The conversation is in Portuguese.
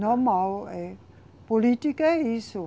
Normal, é. Política é isso.